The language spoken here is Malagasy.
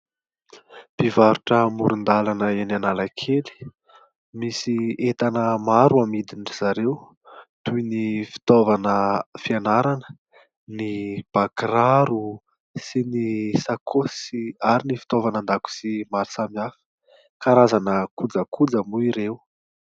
Mpivarotra amoron-dalana eny Analakely. Misy entana maro amidindry zareo toy ny fitaovana fianarana, ny bakiraro sy ny sakaosy ary ny fitaovana an-dakozia maro samihafa. Karazana kojakoja moa ireo.